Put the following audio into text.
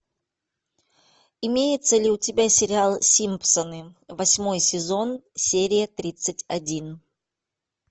имеется ли у тебя сериал симпсоны восьмой сезон серия тридцать один